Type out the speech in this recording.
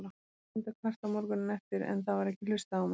Ég reyndi að kvarta morguninn eftir, en það var ekki hlustað á mig.